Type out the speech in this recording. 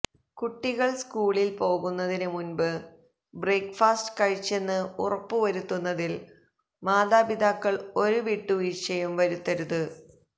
കുട്ടികള് സ്കൂളില് പോകുന്നതിന് മുന്പ് ബ്രേയ്ക്ക് ഫാസ്റ്റ് കഴിച്ചെന്ന് ഉറപ്പുവരുത്തുന്നതില് മാതാപിതാക്കള് ഒരു വിട്ടുവീഴ്ച്ചയും വരുത്തരുത്